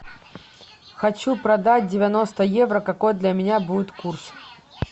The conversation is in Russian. хочу продать девяносто евро какой для меня будет курс